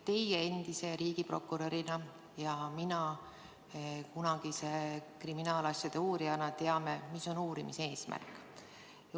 Teie endise riigiprokurörina ja mina kunagise kriminaalasjade uurijana teame, mis on uurimise eesmärk.